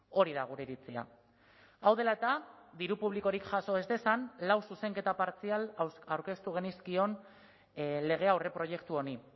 hori da gure iritzia hau dela eta diru publikorik jaso ez dezan lau zuzenketa partzial aurkeztu genizkion lege aurreproiektu honi